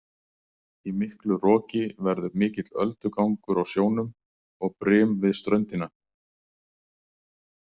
Í miklu roki verður mikill öldugangur á sjónum og brim við ströndina.